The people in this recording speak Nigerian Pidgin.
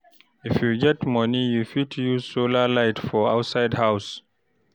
If you get money, you fit use solar light for outside house